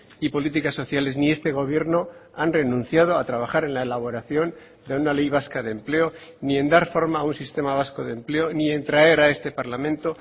y políticas sociales ni este gobierno han renunciado a trabajar en la elaboración de una ley vasca de empleo ni en dar forma a un sistema vasco de empleo ni en traer a este parlamento